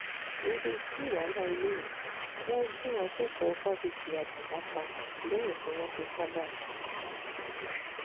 irú kí wàá lélẹ́yìí wọ́n gun akẹ́kọ̀ọ́ fásitì akungba pa lẹ́yìn tí wọ́n fipá bá a sùn tán